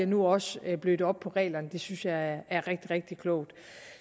nu også blødt op på reglerne om det synes jeg er rigtig rigtig klogt